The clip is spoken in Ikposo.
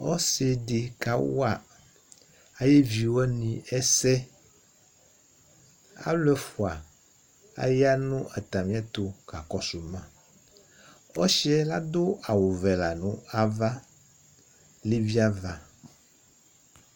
Ɔsidi kawa ayʋ evi wani ɛsɛ Alu ɛfʋa aya nʋ atami ɛtu kakɔsu ma Ɔsi yɛ ladu awʋ vɛ la nʋ ava Levi ava